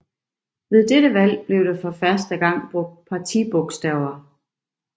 Ved dette valg blev der for første gang brugt partibogstaver